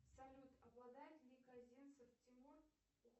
салют обладает ли козинцев тимур